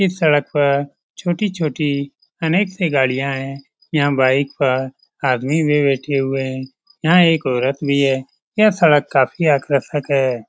इस सड़क पर छोटी छोटी अनेक सी गाड़ियाँ है यहाँ बाइक पर आदमी भी बैठे हुए हैं यहाँ एक औरत भी है यह सड़क काफ़ी आकर्शक है |